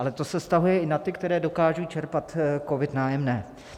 Ale to se vztahuje i na ty, kteří dokážou čerpat COVID - nájemné.